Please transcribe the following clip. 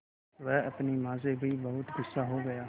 वह अपनी माँ से भी बहुत गु़स्सा हो गया